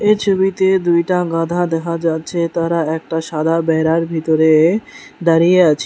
এই ছবিতে দুইটা গাধা দেখা যাচ্ছে তারা একটা সাদা বেড়ার ভিতরে দাঁড়িয়ে আছে।